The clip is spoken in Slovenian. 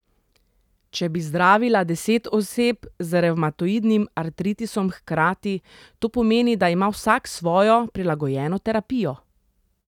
Če bi zdravila deset oseb z revmatoidnim artritisom hkrati, to pomeni, da ima vsak svojo, prilagojeno terapijo.